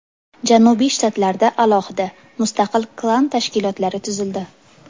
Janubiy shtatlarda alohida, mustaqil klan tashkilotlari tuzildi.